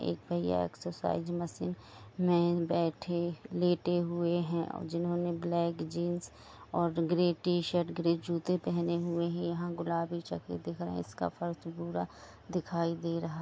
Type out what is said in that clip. एक भैया exercise machine में बैठे- लेटे हुए है और जिन्होंने ब्लैक. जीन्स और ग्रे टी.शर्ट ग्रे जुते पहने हुए है यहाँ गुलाबी चक्र दिख रहा है इसका फर्श पूरा दिखाई दे रहा--